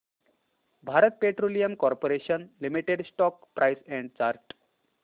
Bharat petroleum corporation limited stock price and chart